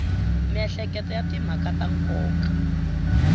miehleketo ya timhaka ta nkoka